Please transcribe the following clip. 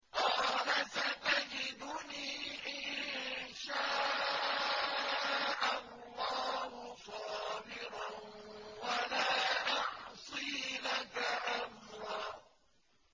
قَالَ سَتَجِدُنِي إِن شَاءَ اللَّهُ صَابِرًا وَلَا أَعْصِي لَكَ أَمْرًا